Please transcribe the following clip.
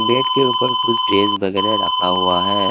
Bed के ऊपर कुछ ड्रेस वगैरह रखा हुआ है।